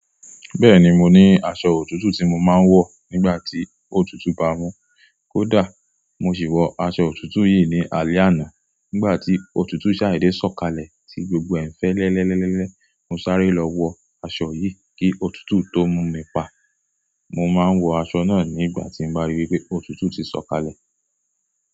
Bẹ́ẹ̀ni, mo ní aṣọ òtútù tí mo máa ń wọ̀ nígbà tí òtútù bá mú un kó dà. Mo sì wọ aṣọ òtútù yìí ní alẹ́ àná nígbà tí òtútù sáìdì sọ̀kalẹ̀ tí gbogbo ẹ̀ fe lẹ́lẹ́lẹ́lẹ́lẹ́. Mo sáré lọ wọ aṣọ yìí kí òtútù tó mú mi pa. Mo máa ń wọ aṣọ náà nígbà tí bá rí pé òtútù ti sọ̀kalẹ̀.